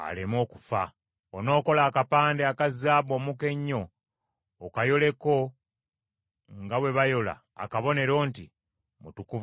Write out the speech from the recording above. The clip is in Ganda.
“Onookola akapande aka zaabu omuka ennyo, okayoleko, nga bwe bayola akabonero, nti, Mutukuvu wa Mukama.